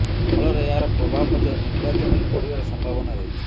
ଫଳରେ ଏହାର ପ୍ରଭାବ ମଧ୍ୟ ନିର୍ବାଚନରେ ପଡ଼ିବାର ସମ୍ଭାବନା ରହିଛି